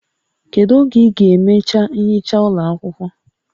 Kedu oge ị ga-emecha ihicha ụlọ akwụkwọ?